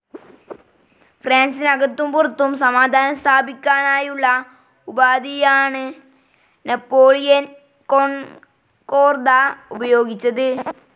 ഫ്രാൻസിനകത്തും പുറത്തും സമാധാനം സ്ഥാപിക്കാനായുള്ള ഉപാധിയായാണ് നാപ്പോളിയൻ കോൺകോർദാ ഉപയോഗിച്ചത്.